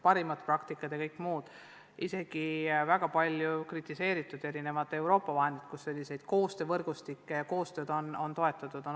Aitavad parimad praktikad ja isegi ka need palju kritiseeritud erinevad Euroopa Liidu vahendid, millega koostöövõrgustikke ja muud koostööd on toetatud.